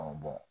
Ɔ